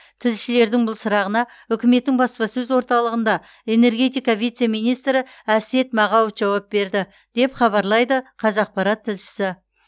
тілшілердің бұл сұрағына үкіметтің баспасөз орталығында энергетика вице министрі әсет мағауов жауап берді деп хабарлайды қазақпарат тілшісі